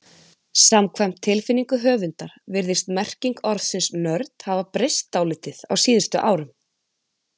Samkvæmt tilfinningu höfundar virðist merking orðsins nörd hafa breyst dálítið á síðustu árum.